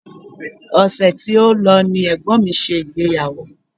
Ọṣẹ̀ tí ó lọ ni ẹ̀gbọ́n mi ṣe ìgbéyàwó